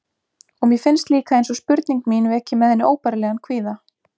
Og mér finnst líka einsog spurning mín veki með henni óbærilegan kvíða.